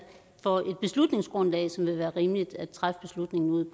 for et beslutningsgrundlag som vil være rimeligt at træffe beslutningen ud